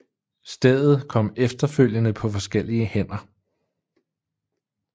Stedet kom efterfølgende på forskellige hænder